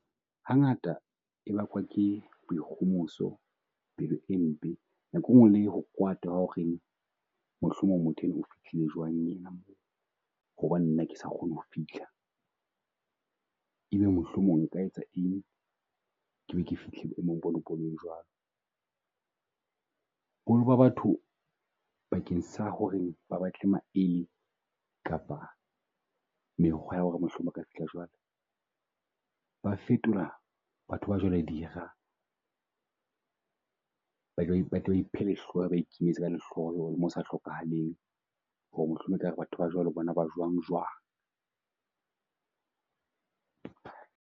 Hangata e bakwa ke boikgomoso pelo e mpe, nako enngwe le ho kwata wa ho re mohlomong motho enwa o fihlile jwang enwa. Hobaneng nna ke sa kgone ho fihla, e be mohlomong nka etsa eng? Ke be ke fihle jwalo, holo ba batho bakeng sa ho reng ba batle maele kapa mekgwa ya ho re mohlomong ka fihla , ba fetola batho ba jwalo dira. Lehloho le mo sa hlokahaleng ho re mohlomong e kare batho ba jwalo bo na ba jwang jwang.